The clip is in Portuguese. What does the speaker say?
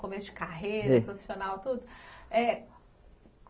Começo de carreira, profissional, tudo. É